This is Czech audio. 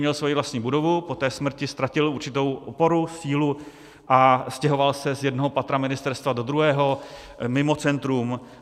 Měl svoji vlastní budovu, po té smrti ztratil určitou oporu, sílu a stěhoval se z jednoho patra ministerstva do druhého, mimo centrum.